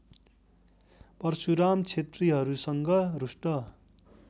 परशुराम क्षेत्रिहरूसँग रुष्ट